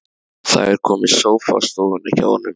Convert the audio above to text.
Það er kominn sófi á stofuna hjá honum.